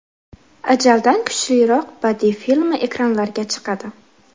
Ajaldan kuchliroq” badiiy filmi ekranlarga chiqadi.